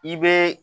I bɛ